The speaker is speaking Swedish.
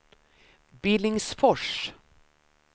Billingsfors